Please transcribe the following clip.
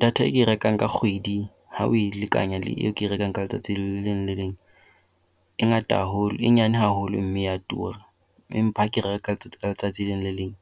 Data eo ke e rekang ka kgwedi ha o e lekanya le eo ke e rekang ka letsatsi le leng le le leng, e ngata haholo, e nyane haholo, mme ya tura. Empa ha ke e reka ka letsatsi le leng